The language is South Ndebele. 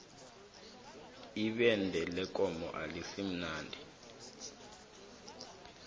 ibende lekomo alisimnandi